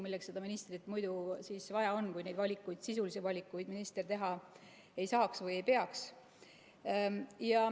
Milleks seda ministrit siis muidu vaja on, kui ta neid sisulisi valikuid teha ei saa või ei pea tegema?